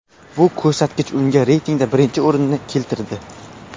Bu ko‘rsatkich unga reytingda birinchi o‘rinni keltirdi.